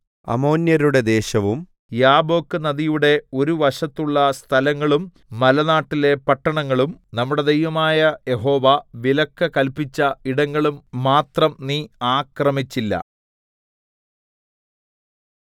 അമ്മോന്യരുടെ ദേശവും യാബ്ബോക്ക് നദിയുടെ ഒരു വശത്തുള്ള സ്ഥലങ്ങളും മലനാട്ടിലെ പട്ടണങ്ങളും നമ്മുടെ ദൈവമായ യഹോവ വിലക്ക് കല്പിച്ച ഇടങ്ങളും മാത്രം നീ ആക്രമിച്ചില്ല